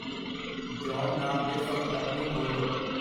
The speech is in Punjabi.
ਜੌਨ ਨਾਮ ਦੇ ਸੰਪਰਕ ਨੂੰ ਖੋਲ੍ਹੋ।